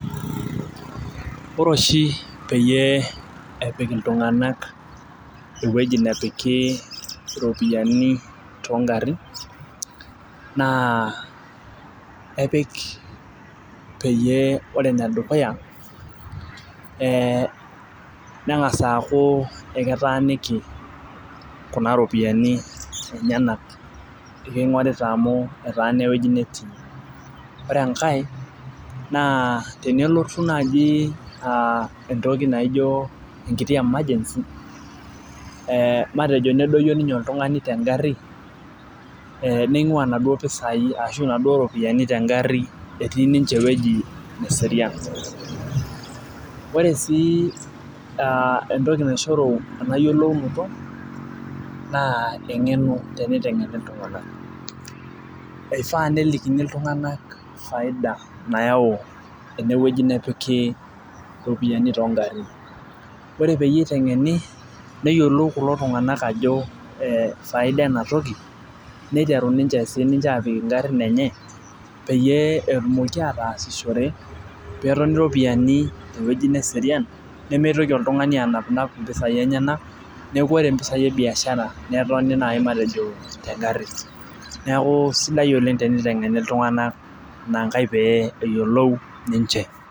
Ore oshi peyie epik iltunganak iweuji nepiki iropiyiani too garin naa epik peyie ore ene dukuya ee nengas aaku eketaaniki Kuna ropiyiani lenyenak. eksingorita amu etaana ewueji netii. ore enkae naa tenelotu naaji aa entoki naijo emergency matejo nedoyio ninye oltungani te gari, ning'uaa inaduoo pisai ashu inaduoo ropiyiani tegari etii ninche ewueji neserian. ore sii entoki naishoru ena yiolounoto, naa engeno teneotengeni iltunganak, ifaa nelikini iltunganak faida nayau ene wueji nepiki iropiyiani too garin. ore peyie itengeni neyiolou kulo tunganak ajo faida ena toki niteru sii ninche aapik ngarin enye peyie etumoki ataasishore peetoni iropiyiani te wueji neserian. nemeitoki oltungani anapinap mpisai lenyenak ,neeku ore mpisai ebiashara netoni naaji matejo te gari. neeku sidai Oleng tenitengeni iltunganak inankae pee eyiolou ninche.